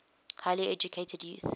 highly educated youth